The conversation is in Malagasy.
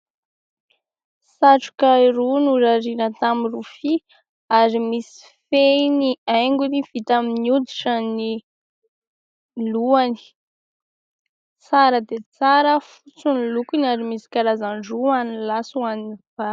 Satroka roa norariana tamin'ny rofia ary misy fehiny haingony vita amin'ny hoditra ny lohany. Tsara dia tsara, fotsy ny lokony, ary misy karazany roa ho an'ny lahy sy ho an'ny vavy.